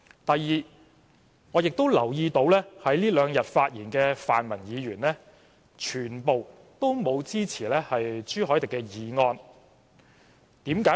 第二，我亦留意到，在這兩天發言的泛民議員全都不支持朱凱廸議員的議案。